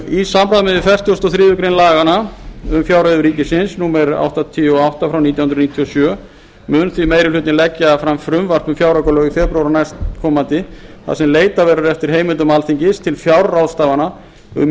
í samræmi við fertugasta og þriðju grein laganna um fjárreiður ríkisins númer áttatíu og átta nítján hundruð níutíu og sjö mun því meiri hlutinn leggja fram frumvarp um fjáraukalög í febrúar næstkomandi þar sem leitað verður eftir heimildum alþingis til fjárráðstafana um